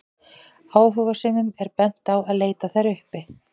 áhugasömum er bent á að leita þær uppi